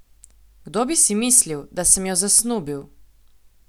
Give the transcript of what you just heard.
Kdo bi si mislil, da sem jo zasnubil?